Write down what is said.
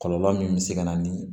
Kɔlɔlɔ min bɛ se ka na ni